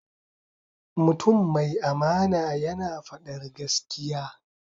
Mutum mai amana yana faɗar gaskiya.